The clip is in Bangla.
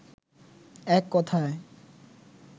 এক কথায়